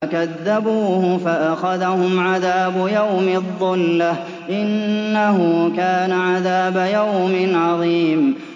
فَكَذَّبُوهُ فَأَخَذَهُمْ عَذَابُ يَوْمِ الظُّلَّةِ ۚ إِنَّهُ كَانَ عَذَابَ يَوْمٍ عَظِيمٍ